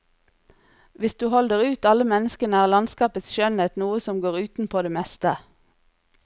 Hvis du holder ut alle menneskene er landskapets skjønnhet noe som går utenpå det meste.